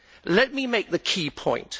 Let me make a key point.